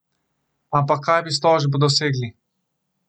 Ampak kaj bi s tožbo dosegli?